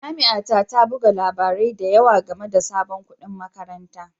Jami'a ta ta buga labarai da yawa game da sabon kuɗin makaranta